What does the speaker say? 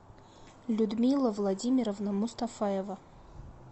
людмила владимировна мустафаева